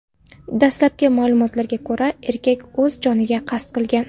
Dastlabki ma’lumotlarga ko‘ra, erkak o‘z joniga qasd qilgan.